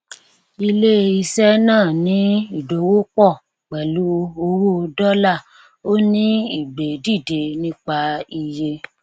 ilé iṣẹ náà ní ìdòwò pọ pẹlú owó dọlà ó ní ìgbé dìde nípa iye